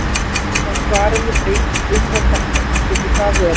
Samkvæmt svarinu breytist ummál dekkjanna, getur það verið?